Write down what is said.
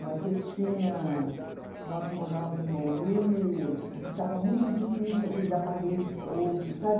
Mas eu tinha, nós morávamos em Bauru e ficava muito difícil aqueles aparelhos todos, sabe?